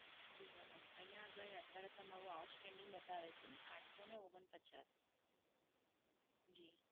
જી madam. અહીયાં આગળી અત્યારે તમારું outstanding બતાવે છે આંઠસો ને ઓગણપચાસ. જી.